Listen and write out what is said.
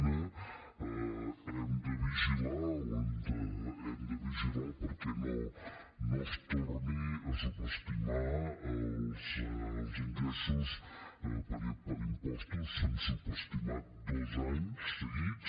una hem de vigilar perquè no es tornin a subestimar els ingressos per impostos que s’han subestimat dos anys seguits